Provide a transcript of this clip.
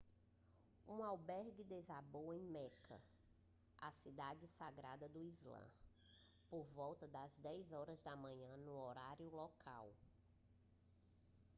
um albergue desabou em meca a cidade sagrada do islã por volta das 10 horas desta manhã no horário local